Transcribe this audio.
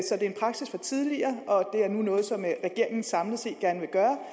det er en praksis fra tidligere og det er nu noget som regeringen samlet set gerne vil gøre